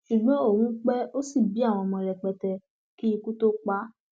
ṣùgbọn òun pé ó ṣì bí àwọn ọmọ rẹpẹtẹ kí ikú tóo pa á